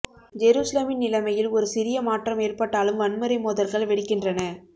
ஜெரூசலேமின் நிலைமையில் ஒரு சிறிய மாற்றம் ஏற்பட்டாலும் வன்முறை மோதல்கள் வெடிக்கின்றன